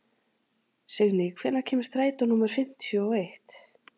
Signý, hvenær kemur strætó númer fimmtíu og eitt?